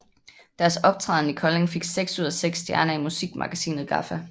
Deres optræden i Kolding fik seks ud af seks stjerner i musikmagasinet GAFFA